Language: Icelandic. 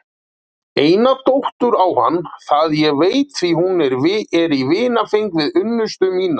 Eina dóttur á hann það ég veit því hún er í vinfengi við unnustu mína.